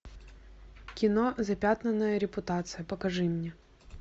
кино запятнанная репутация покажи мне